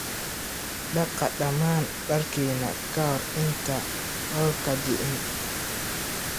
Dhaqa dhammaan dharkina ka hor inta roobka diin.